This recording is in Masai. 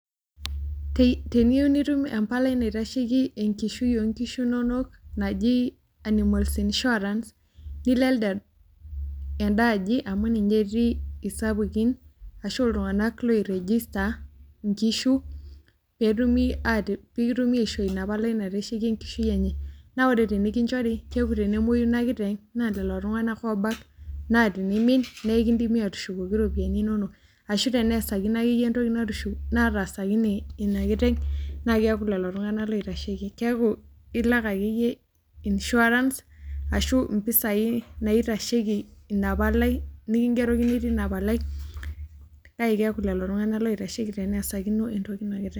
Teniyieu nitum empalai naitasheki enkishui onkishu inonok naji animals insurance, nilo elde enda aji amu ninye etii isapukin, ashu iltung'anak loirejesta inkishu, petumi pikitumi aishoo inapalai naitasheki enkishui enye. Na ore tenikinchori, keeku tenemoyu ina kiteng', naa lelo tung'anak obak. Naa tinimin, na ekidimi atushukoki iropiyiani inonok. Ashu teneesakino akeyie entoki nataasakine inakiteng', na keeku lelo tung'anak oitasheki. Keeku ilak akeyie insurance, ashu impisai naitasheki inapalai nikigerokini tina palai, kake keeku lelo tung'anak oitasheki teneesakino entokino entoki inakiteng'.